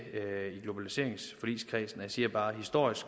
globaliseringsforligskredsen og jeg siger bare at historisk